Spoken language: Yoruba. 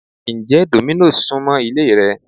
Ǹjẹ́ Domino's súmọ́ ilé rẹ?